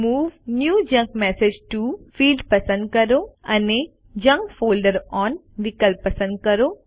move new junk message T O field પસંદ કરો અને જંક ફોલ્ડર ઓન વિકલ્પ પસંદ કરો